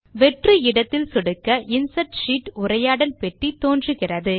வெற்று இடத்தில் சொடுக்க இன்சர்ட் ஷீட் உரையாடல் பெட்டி தோன்றுகிறது